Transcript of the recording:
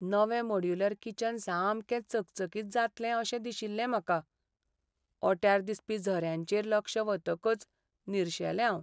नवें modular kitchen सामकें चकचकीत जातलें अशें दिशिल्लें म्हाका. ओट्यार दिसपी झऱ्यांचेर लक्ष वतकच निरशेलें हांव.